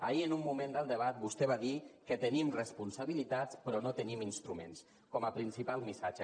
ahir en un moment del debat vostè va dir que tenim responsabilitats però no tenim instruments com a principal missatge